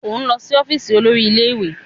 O n lọ si ọfiisi olórí ilé-ìwé!